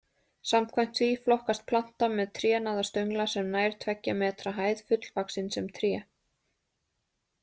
Samkvæmt því flokkast planta með trénaða stöngla sem nær tveggja metra hæð fullvaxin sem tré.